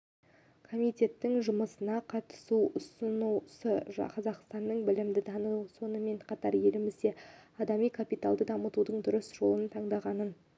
комитеттің жұмысына қатысу ұсынысы қазақстандық білімді тануы сонымен қатар еліміз адами капиталды дамытудың дұрыс жолын тандағанының